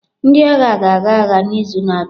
Ndị agha ga-aga agha n'izu na-abịa.